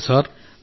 సరే సార్